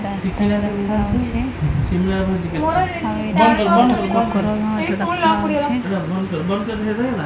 ରାସ୍ତା ଦେଖାଯାଉଚି ଆଉ ଏଠି ଗୋଟେ କୁକୁର ବି ମଧ୍ୟ ଦେଖାଯାଉଚି।